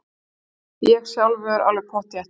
Ég sjálfur alveg pottþétt.